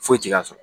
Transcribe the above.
Foyi ti k'a sɔrɔ